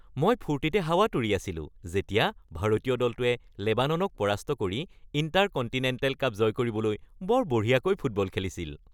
মই ফূৰ্তিতে হাৱাত উৰি আছিলো যেতিয়া ভাৰতীয় দলটোৱে লেবাননক পৰাস্ত কৰি ইণ্টাৰকণ্টিনেণ্টেল কাপ জয় কৰিবলৈ বৰ বঢ়িয়াকৈ ফুটবল খেলিছিল। (ব্যক্তি ১)